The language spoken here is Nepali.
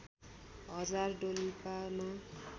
हजार डोल्पामा